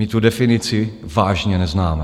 My tu definici vážně neznáme.